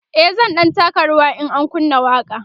e zan ɗan taka rawa in an kunna waƙa